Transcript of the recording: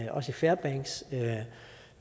og i fairbanks